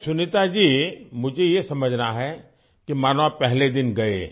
سنیتا جی، مجھے یہ سمجھنا ہے کہ مانو آپ پہلے دن گئے